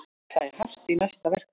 Ætla í hart í næsta verkfalli